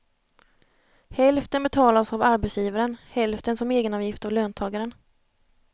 Hälften betalas av arbetsgivaren, hälften som egenavgift av löntagaren.